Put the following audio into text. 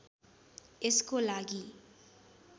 यसको लागि